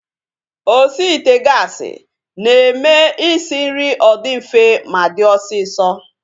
Osi ite gaasi na-eme isi nri ọ dị mfe ma dị osisọ